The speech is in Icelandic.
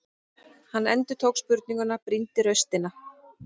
Hann endurtók spurninguna, brýndi raustina.